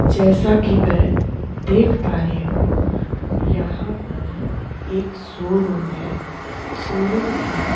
जैसा कि मैं देख पा रही हूँ यहाँ पर एक शोरूम है शोरूम के--